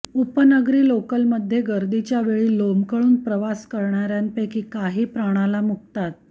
उपनगरी लोकलमध्ये गर्दीच्या वेळी लोंबकळून प्रवास करणार्यांपैकी काही प्राणाला मुकतात